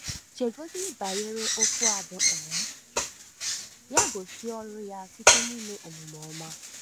Chegodị banyere okwu a bụ́: um “ Ya gosị ọrụ ya site n’ime omume ọma ”?